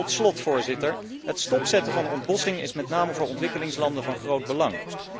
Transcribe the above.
Tot slot, het stopzetten van de ontbossing is met name voor ontwikkelingslanden van groot belang.